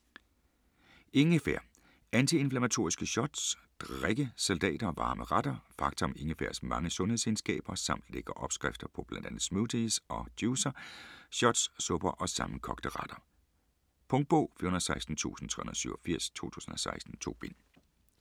Ingefær: antiinflammatoriske shots, drikke, salater & varme retter Fakta om ingefærs mange sundhedsegenskaber samt lækre opskrifter på bl.a. smoothies og juicer, shots, supper og sammenkogte retter. Punktbog 416387 2016. 2 bind.